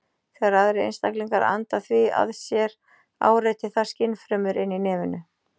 Þegar aðrir einstaklingar anda því að sér áreitir það skynfrumur inni í nefinu.